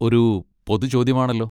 ഒരു പൊതു ചോദ്യമാണല്ലോ.